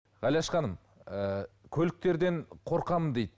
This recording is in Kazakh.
ғалияш ханым ы көліктерден қорқамын дейді